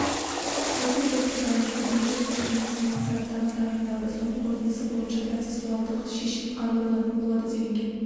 осы дерекке байланысты бірнеше сот-медициналық сараптама тағайындалды соның қорытындысы бойынша процессуалдық шешім қабылданатын болады делінген